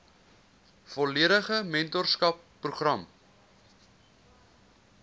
volledige mentorskap program